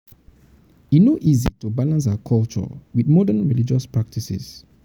e no easy to balance our culture wit modern religious practices.